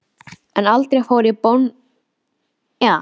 En aldrei fór ég bónleiður til búðar.